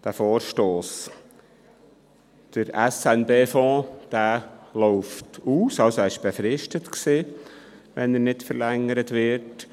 Der SNB-Fonds war befristet und läuft aus, wenn er nicht verlängert wird.